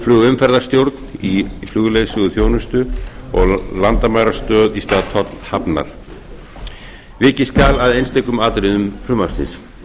flugumferðarstjórn í flugleiðsöguþjónustu og landamærastöð í stað tollhafnar vikið skal að einstökum atriðum frumvarpsins